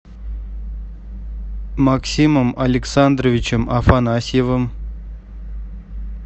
максимом александровичем афанасьевым